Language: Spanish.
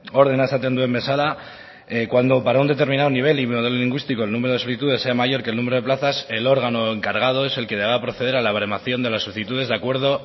ordena esaten duen bezala cuando para un determinado nivel y modelo lingüístico el número de solicitudes sea mayor que el número de plazas el órgano encargado es el que debe proceder a la baremación de las solicitudes de acuerdo